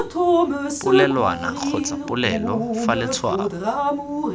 polelwana kgotsa polelo fa letshwao